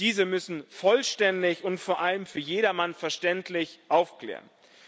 Diese müssen vollständig und vor allem für jedermann verständlich aufklären.